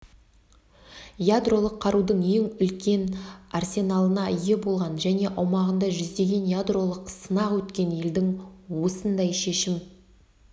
ядролық қарудың ең үлкен арсеналына ие болған және аумағында жүздеген ядролық сынақ өткен елдің осындай шешім